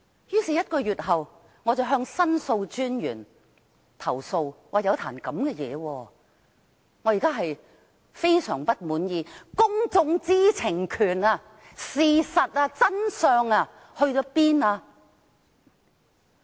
於是，在1個月後，我向申訴專員投訴，我說發生了這樣的事情，令我相當不滿意，究竟公眾知情權、事實和真相到哪裏去了？